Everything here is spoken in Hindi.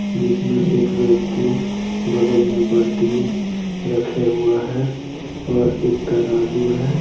जिसमे एक व्यक्ति बगल में बाल्टी रखे हुआ है और एक तराजू है।